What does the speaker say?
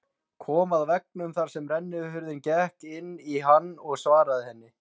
Kom að veggnum þar sem rennihurðin gekk inn í hann og svaraði henni